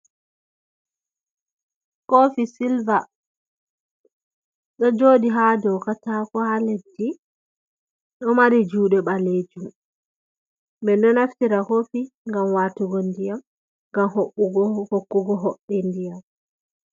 Kofi silva ɗo joɗi ha dou katako ha leddi, ɗo mari juɗe balejum, me ɗo naftira kofi ngam watugo ndiyam, ngam hokkugo hoɓɓe ndiyam.